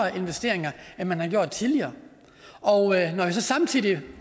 investeringer end man har gjort tidligere når man så samtidig